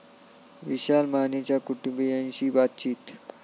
विशाल मानेच्या कुटुंबीयांशी बातचित